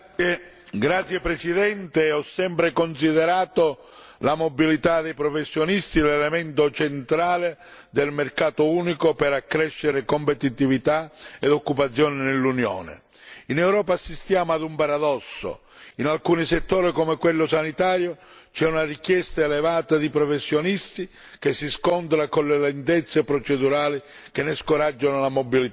Signor Presidente, onorevoli colleghi, ho sempre considerato la mobilità dei professionisti l'elemento centrale del mercato unico per accrescere competitività ed occupazione nell'Unione. In Europa assistiamo ad un paradosso in alcuni settori, come quello sanitario, c'è una richiesta elevata di professionisti che si scontra con le lentezze procedurali che ne scoraggiano la mobilità.